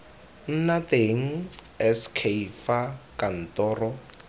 nna teng sk fa kantoro